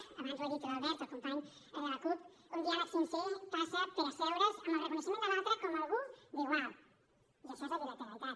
abans ho ha dit l’albert el company de la cup un diàleg sincer passa per asseure’s amb el reconeixement de l’altre com algú d’igual i això és la bilateralitat